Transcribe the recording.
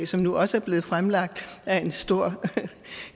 som nu også er blevet fremlagt af en stor